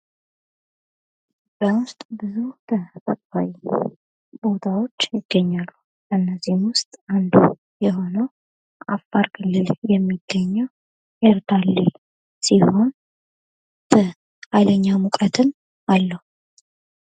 ኢትዮጵያ ውስጥ በጣም ብዙ ቦታዎች ይገኛሉ ። ከነዚህም ውስጥ አንዱ የሆነው የሚገኘው አፋር ክልል የሚገኘው ኤርታሌ ሲሆን በሃይለኛ ሙቀትም አለው ።